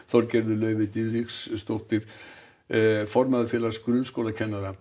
Þorgerður Laufey Diðriksdóttir formaður Félags grunnskólakennara